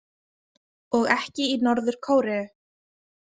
Og ekki í Norður- Kóreu.